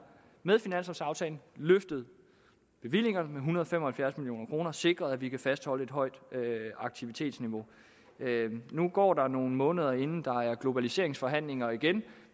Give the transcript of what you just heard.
løftet bevillingerne med en hundrede og fem og halvfjerds million kroner og sikret at vi kan fastholde et højt aktivitetsniveau nu går der nogle måneder inden der er globaliseringsforhandlinger igen